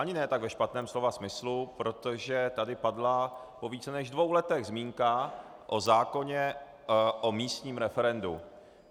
Ani ne tak ve špatném slova smyslu, protože tady padla po více než dvou letech zmínka o zákoně o místním referendu.